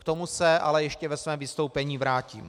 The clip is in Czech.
K tomu se ale ještě ve svém vystoupení vrátím.